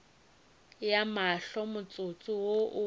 ya mahlo motsotso wo o